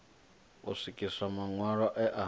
u swikiswa maṋwalo e a